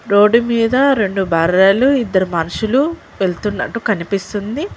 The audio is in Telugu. రోడ్డు మీద రెండు బర్రెలు ఇద్దరు మనుషులు వెళ్తున్నట్టు కనిపిస్తుంది.